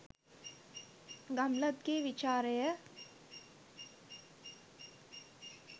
ගම්ලත්ගේ විචාරය